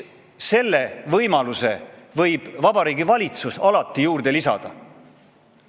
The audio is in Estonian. Selle võimaluse võib Vabariigi Valitsus alati lisada.